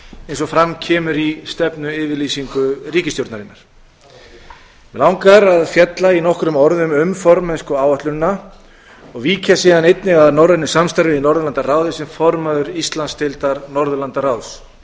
eins og fram kemur í stefnuyfirlýsingu ríkisstjórnarinnar mig langar að fjalla í nokkrum orðum um formennskuáætlunina og víkja síðan einnig að norrænu samstarfi í norðurlandaráði sem formaður íslandsdeildar norðurlandaráðs